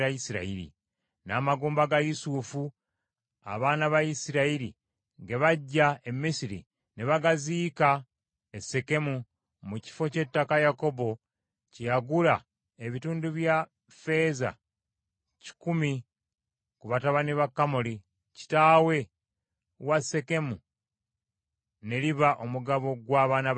N’amagumba ga Yusufu, abaana ba Isirayiri ge baggya e Misiri ne bagaziika e Sekemu, mu kifo ky’ettaka Yakobo kye yagula ebitundu bya ffeeza kikumi ku batabani ba Kamoli, kitaawe wa Sekemu ne liba omugabo gw’abaana ba Yusufu.